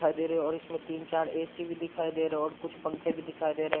दिखाई दे रहे है और इसमे तीन-चार ए.सी भी दिखाई दे रहे और कुछ पंखे भी दिखाई दे रहे है।